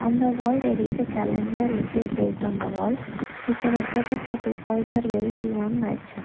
on the wall there is a calendar which is placed on the wall we can observe that the two boys are wearing blue and white shirt.